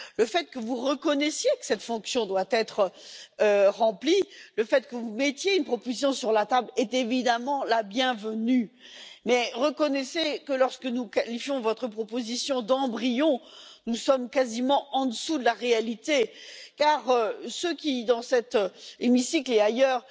Le fait que vous reconnaissiez que cette fonction doit être remplie, le fait que vous mettiez une proposition sur la table, est évidemment la bienvenue, mais reconnaissez que lorsque nous qualifions votre proposition d'embryon, nous sommes quasiment en dessous de la réalité, car ceux qui, dans cet hémicycle et ailleurs,